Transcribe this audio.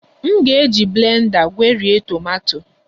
M ga-eji blenda gwerie tomato